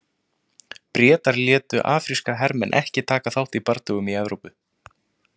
Bretar létu afríska hermenn ekki taka þátt í bardögum í Evrópu.